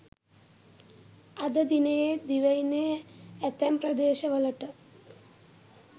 අද දිනයේත් දිවයිනේ ඇතැම් ප්‍රදේශවලට